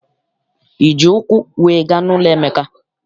Iji ụkwụ wee gaa n'ụlọ Emeka?